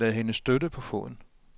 Lad hende støtte på foden.